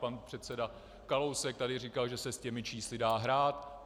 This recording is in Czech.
Pan předseda Kalousek tady říkal, že se s těmi čísly dá hrát.